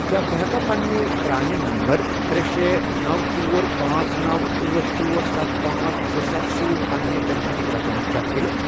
کیٛاہ بہٕ ہیٚکا پننہِ پرانہِ نمبر ترے، شے، نوَ، ژور، پانژھ، نوَ، أٹھ، ژور، سَتھ، پانژھ، زٕ، سَتھ، سۭتۍ پننہِ پنشنُک رقم چیک کٔرِتھ؟